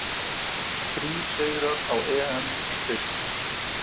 Þrír sigrar á EM í brids